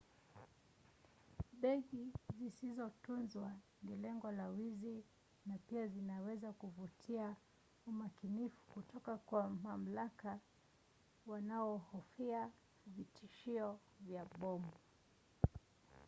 begi zisizotunzwa ni lengo la wizi na pia zinaweza kuvutia umakinifu kutoka kwa mamlaka wanaohofia vitishio vya bomu